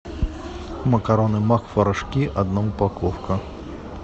макароны макфа рожки одна упаковка